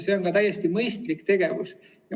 See on täiesti mõistlik tegevus.